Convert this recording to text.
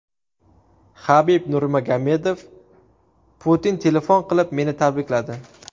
Habib Nurmagomedov: Putin telefon qilib meni tabrikladi.